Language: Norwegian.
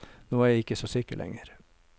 Nå er jeg ikke så sikker lenger.